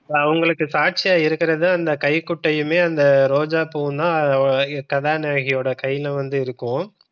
அவங்களுக்கு சாட்சியாய் இருக்கிறது வந்து அந்த கைக்குட்டையுமே அந்த ரோஜா பூ தான் இப்ப கதாநாயகியோட கைல வந்து இருக்கும்.